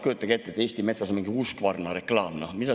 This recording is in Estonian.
Kujutage ette, et Eesti Metsas oleks mingi uus Husqvarna reklaam!